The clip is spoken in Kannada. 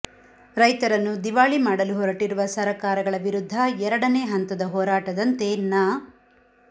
ರೈತರನ್ನು ದಿವಾಳಿ ಮಾಡಲು ಹೊರಟಿರುವ ಸರಕಾರಗಳ ವಿರುದ್ದ ಎರಡನೇ ಹಂತದ ಹೋರಾಟದಂತೆ ನ